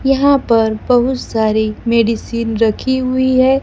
यहां पर बहुत सारी मेडिसिन रखी हुई है।